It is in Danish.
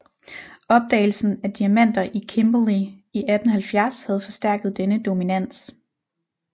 Opdagelsen af diamanter i Kimberley i 1870 havde forstærket denne dominans